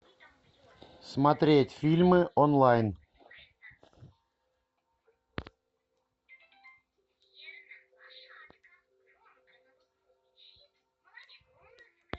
смотреть фильмы онлайн